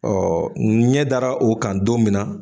ɲɛ dara o kan don min na